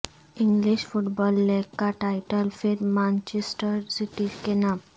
English football league کا title پھر Manchester City کے نام